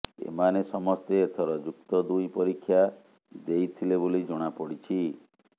ଏମାନେ ସମସ୍ତେ ଏଥର ଯୁକ୍ତ ଦୁଇ ପରୀକ୍ଷା ଦେଇଥିଲେ ବୋଲି ଜଣାପଡିଛି